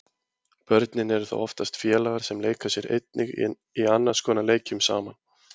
Börnin eru þá oftast félagar sem leika sér einnig í annars konar leikjum saman.